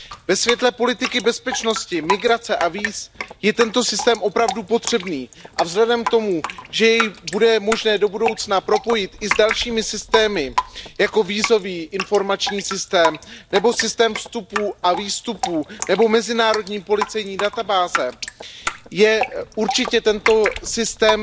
Ve světle politiky bezpečnosti, migrace a víz je tento systém opravdu potřebný a vzhledem k tomu, že jej bude možné do budoucna propojit i s dalšími systémy, jako jsou vízový a informační systém nebo systém vstupů a výstupů nebo mezinárodní policejní databáze, je určitě tento systém